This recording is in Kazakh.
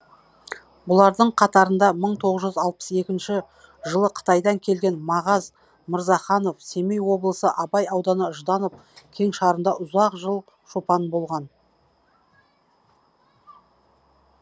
бұлардың қатарында мың тоғыз жүз алпыс екінші жылы қытайдан келген мағаз мырзаханов семей облысы абай ауданы жданов кеңшарында ұзақ жыл шопан болған